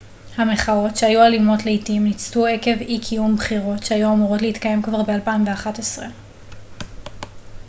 המחאות שהיו אלימות לעתים ניצתו עקב אי-קיום בחירות שהיו אמורות להתקיים כבר ב-2011